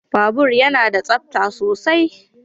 Babur yana da tsabta sosai.